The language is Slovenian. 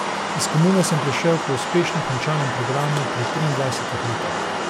Iz komune sem prišel po uspešno končanem programu pri triindvajsetih letih.